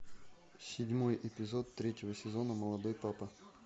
седьмой эпизод третьего сезона молодой папа